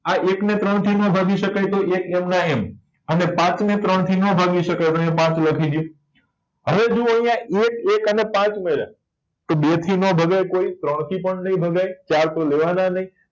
આ એક ને ત્રણ થી નો ભાગી શકાય તો એક એમના એમ અને પાંચ ને ત્રણ થી નો ભાગી શકાય તો અહિયાં પાંચ લખી દો હવે જોવો અહિયા એક એક અને પાંચ મળ્યા તો બે થી ના ભગાય કોઈ ત્રણ થી પણ નહી ભગાય અને ચાર તો લેવા ના નહી